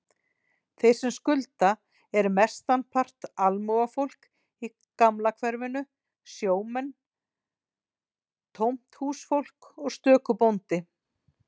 Þeir sem skulda eru mestanpart almúgafólk í gamla hverfinu, sjómenn, tómthúsfólk og stöku bóndi.